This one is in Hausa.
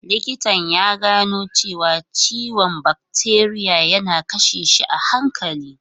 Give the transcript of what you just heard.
Likitan ya gano cewa ciwon bakteriya yana kashe shi a hankali.